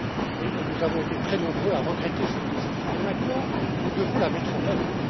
Et nous avons été très nombreux à regretter cette décision mais, maintenant, nous devons la mettre en œuvre.